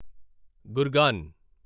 Gurgaon